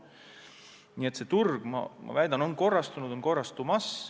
Nii et see turg, ma väidan, on korrastunud ja veelgi korrastumas.